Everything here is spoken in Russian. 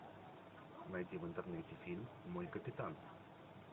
найти в интернете фильм мой капитан